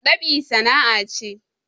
Dab'i sana'a ce